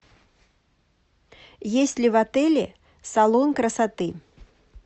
есть ли в отеле салон красоты